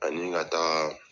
Ani ka taa